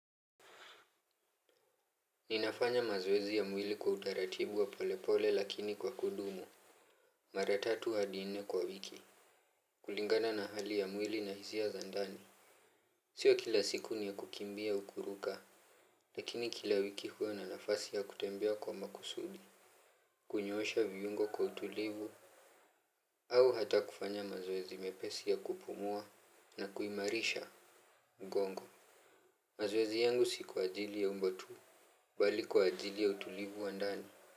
Ninafanya mazoezi ya mwili kwa utaratibu wa polepole lakini kwa kudumu. Mara tatu hadi nne kwa wiki. Kulingana na hali ya mwili na hisia za ndani. Siyo kila siku ni ya kukimbia au kuruka. Lakini kila wiki huwa na nafasi ya kutembea kwa makusudi. Kunyoosha viungo kwa utulivu. Au hata kufanya mazoezi mepesi ya kupumua na kuimarisha. Mgongo. Mazoezi yangu si kwa ajili ya umbo tu. Bali kwa ajili ya utulivu wa ndani.